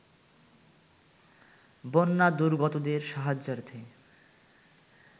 বন্যা দুর্গতদের সাহায্যার্থে